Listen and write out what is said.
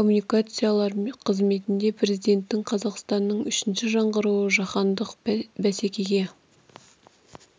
коммуникациялар қызметінде президентінің қазақстанның үшінші жаңғыруы жаһандық бәсекеге